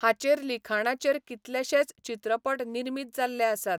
हाचेर लिखाणाचेर कितलेशेच चित्रपट निर्मीत जाल्ले आसात.